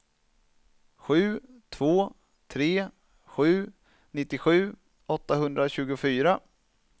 sju två tre sju nittiosju åttahundratjugofyra